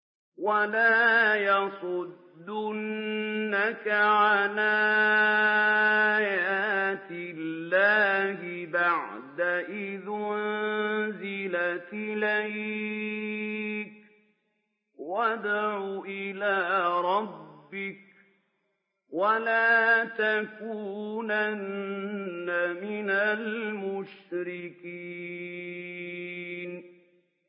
وَلَا يَصُدُّنَّكَ عَنْ آيَاتِ اللَّهِ بَعْدَ إِذْ أُنزِلَتْ إِلَيْكَ ۖ وَادْعُ إِلَىٰ رَبِّكَ ۖ وَلَا تَكُونَنَّ مِنَ الْمُشْرِكِينَ